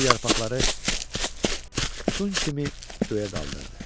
Quru yarpaqları sütun kimi göyə qaldırdı.